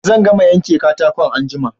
Zan gama yanke katakon anjima